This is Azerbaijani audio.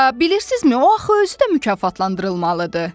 A bilirsizmi o axı özü də mükafatlandırılmalıdır.